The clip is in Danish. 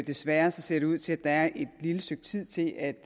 desværre ser det ud til at der er et lille stykke tid til at